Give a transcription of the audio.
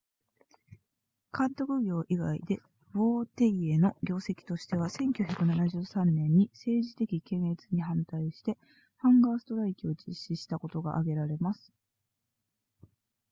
監督業以外でヴォーティエの業績としては1973年に政治的検閲に反対してハンガーストライキを実施したことが挙げられます